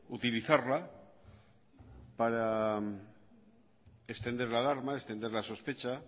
utilizarla para extender la alarma extender la sospecha